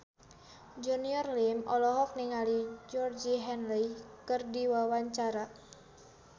Junior Liem olohok ningali Georgie Henley keur diwawancara